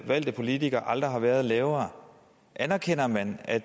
valgte politikere aldrig har været lavere anerkender man at